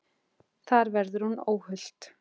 Þar verði hún óhult.